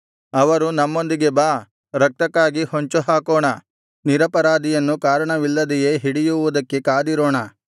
ಅವರು ನಮ್ಮೊಂದಿಗೆ ಬಾ ರಕ್ತಕ್ಕಾಗಿ ಹೊಂಚುಹಾಕೋಣ ನಿರಪರಾಧಿಯನ್ನು ಕಾರಣವಿಲ್ಲದೆಯೇ ಹಿಡಿಯುವುದಕ್ಕೆ ಕಾದಿರೋಣ